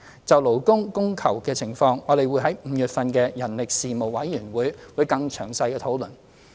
就勞工供求的情況，我們會在5月份的人力事務委員會會議更詳細地討論。